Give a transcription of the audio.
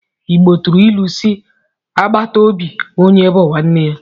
Igbo tụrụ ilu si 'agbàtà óbị onye bú nwanne ya '